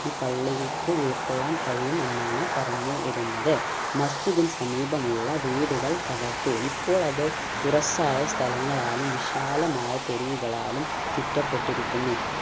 ഈ പള്ളിക്ക് ഉൾകൊള്ളാൻ കഴിയുമെന്നാണ് പറഞ്ഞു വരുന്നത് മസ്ജിദിന് സമീപമുള്ള വീടുകൾ തകർത്തു ഇപ്പോൾ അത് തുറസ്സായ സ്ഥലങ്ങളാലും വിശാലമായ തെരുവുകളാലും ചുറ്റപ്പെട്ടിരിക്കുന്നു